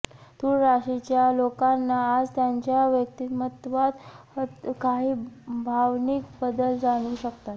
तूळ राशीच्या लोकांना आज त्यांच्या व्यक्तिमत्वात काही भावनिक बदल जाणवू शकतात